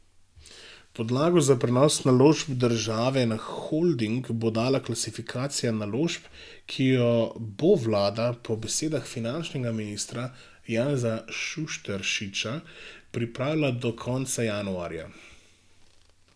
Podlago za prenos naložb države na holding bo dala klasifikacija naložb, ki jo bo vlada po besedah finančnega ministra Janeza Šušteršiča pripravila do konca januarja.